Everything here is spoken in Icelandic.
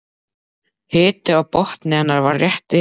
Hiti á botni hennar var rétt yfir